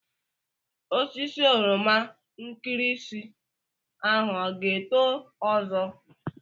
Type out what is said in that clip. Osisi oroma nkirinsi ahụ ọ ga-eto ọzọ?